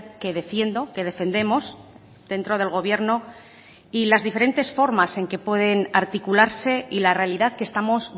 que defiendo que defendemos dentro del gobierno y las diferentes formas en que pueden articularse y la realidad que estamos